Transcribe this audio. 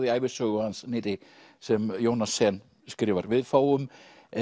í ævisögu hans nýrri sem Jónas Sen skrifar við fáum